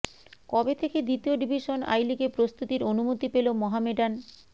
কবে থেকে দ্বিতীয় ডিভিশন আই লিগে প্রস্তুতির অনুমতি পেল মহামেডান